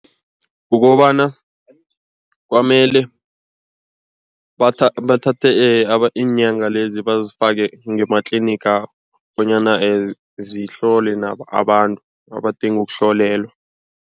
Kukobana kwamele bathathe inyanga lezi bazifake ngematliniga bonyana zihlole nabanye abantu abadinga ukuhlolelwa.